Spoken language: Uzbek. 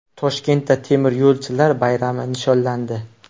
Toshkentda temiryo‘lchilar bayrami nishonlandi.